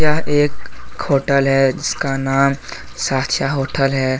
यह एक खोटल है जिसका नाम साथिया होटल है।